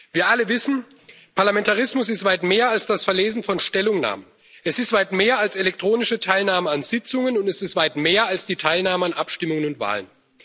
Wir alle wissen Parlamentarismus ist weit mehr als das Verlesen von Stellungnahmen, es ist weit mehr als elektronische Teilnahme an Sitzungen, und es ist weit mehr als die Teilnahme an Abstimmungen und Wahlen.